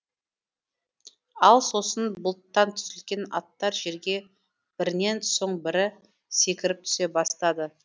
ал сосын бұлттан түзілген аттар жерге бірінен соң бірі секіріп түсе бастады